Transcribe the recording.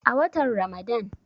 a watan Ramadan